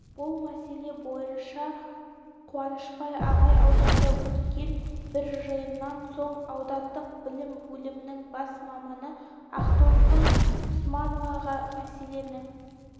бұл мәселе бойынша қуанышбай ағай ауданда өткен бір жиыннан соң аудандық білім бөлімінің бас маманы ақтолқын усмановаға мәселені